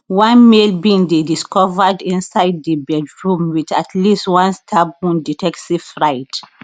one male bin dey discovered inside di bedroom with at least one stab wound detectives write